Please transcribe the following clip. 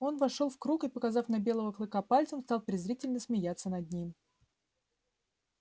он вошёл в круг и показав на белого клыка пальцем стал презрительно смеяться над ним